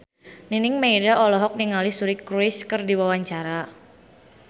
Nining Meida olohok ningali Suri Cruise keur diwawancara